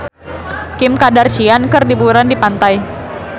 Kim Kardashian keur liburan di pantai